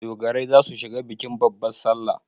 Dogarai za su shiga bikin babban salla.